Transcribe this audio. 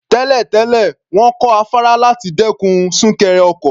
Tẹ́lẹ̀ tẹ́lẹ̀, wọ́n kọ́ afárá láti dẹ́kun súnkẹrẹ ọkọ̀.